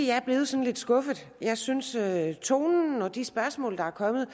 jeg er blevet sådan lidt skuffet jeg synes at tonen og de spørgsmål der er kommet